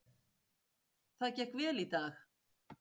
Það gekk vel í dag.